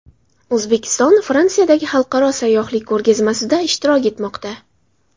O‘zbekiston Fransiyadagi xalqaro sayyohlik ko‘rgazmasida ishtirok etmoqda.